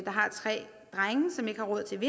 har tre drenge som ikke har råd til